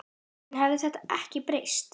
En hefur þetta ekki breyst?